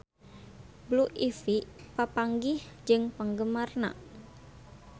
Blue Ivy papanggih jeung penggemarna